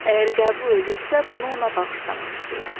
Əgər qəbul edirsə, bunu ona bağışlamaq istəyirəm.